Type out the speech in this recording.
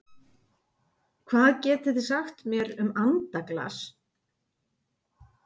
Hvað getið þið sagt mér um andaglas?